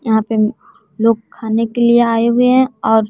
यहां पे लोग खाने के लिए आए हुए हैं और--